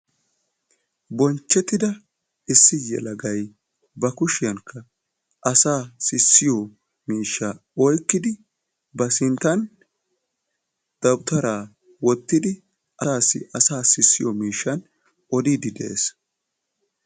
bonchettida issi yelagay ba kushiyan asaa sisiyo miishshaa oykkidi ba sintan dawutaraa wottidi asaassi asaa sissiyo miishshan odiidi de'ees.